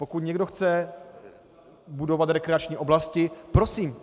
Pokud někdo chce budovat rekreační oblasti, prosím.